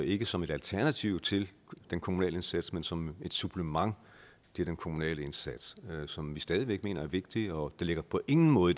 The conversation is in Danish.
ikke som et alternativ til den kommunale indsats men som et supplement til den kommunale indsats som vi stadig væk mener er vigtig og det her på ingen måde